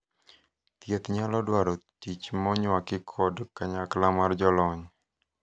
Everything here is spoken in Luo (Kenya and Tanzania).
thieth nyalo dwaro tich monywaki kod kanyakla mar jolony